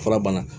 Fura bana